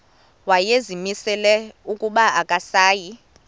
wayezimisele ukuba akasayi